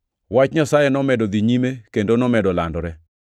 Wach Nyasaye nomedo dhi nyime kendo nomedo landore.